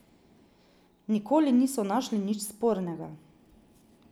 Nikoli niso našli nič spornega.